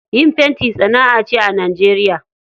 Yin fenti sana'a ce a Najeriya.